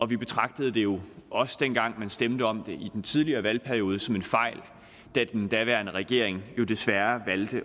vi betragtede det jo også dengang man stemte om det i den tidligere valgperiode som en fejl da den daværende regering jo desværre valgte